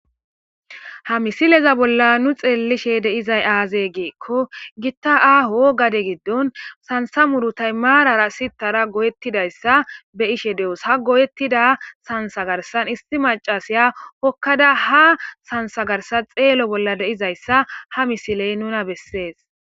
Ha misileza bolla nu xeelishe deizay aazee geekko gitta aaho gade giddon sansa muru taymarara sittara goyettidayssa be ishe de'os ha goyettida sansagarsan isti macasiya hokkada ha sansagarsan xeelo bolla deizayssa ha misiley nuna bessees